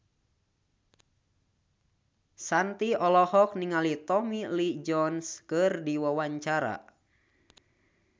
Shanti olohok ningali Tommy Lee Jones keur diwawancara